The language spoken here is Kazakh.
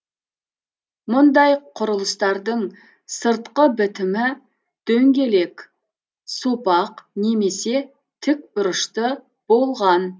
мұндай құрылыстардың сыртқы бітімі дөңгелек сопақ немесе тікбұрышты болған